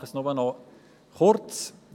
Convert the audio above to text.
Ich fasse mich nur noch kurz.